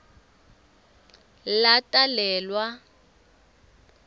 latalelwa